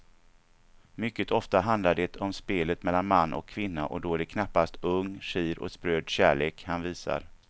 Mycket ofta handlar det om spelet mellan man och kvinna och då är det knappast ung, skir och spröd kärlek han visar.